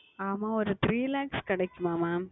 ஆமாம் ஓர் Three Lakhs கிடைக்குமா Mam